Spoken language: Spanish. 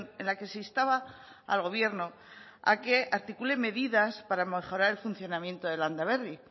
en la que se instaba al gobierno a que articule medidas para mejorar el funcionamiento de landaberri